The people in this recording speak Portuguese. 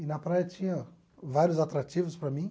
E na praia tinha vários atrativos para mim.